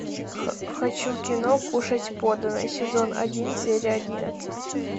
хочу кино кушать подано сезон один серия одиннадцать